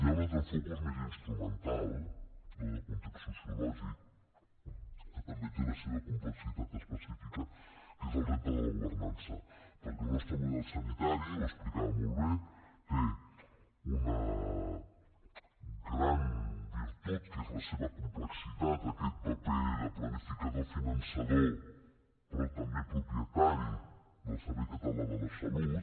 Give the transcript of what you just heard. hi ha un altre focus més instrumental no de context sociològic que també té la seva complexitat específica que és el repte de la governança perquè el nostre model sanitari ho explicava molt bé té una gran virtut que és la seva complexitat aquest paper de planificador finançador però també propietari del servei català de la salut